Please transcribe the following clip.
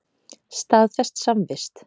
Staðfest samvist.